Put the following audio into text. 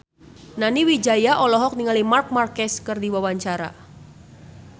Nani Wijaya olohok ningali Marc Marquez keur diwawancara